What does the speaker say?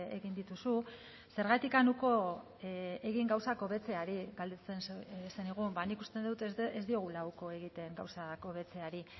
egin dituzu zergatik uko egin gauzak hobetzeari galdetzen zenigun nik uste dut ez diogula uko egiten gauzak hobetzeari